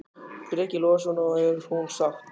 Breki Logason: Og er hún sátt?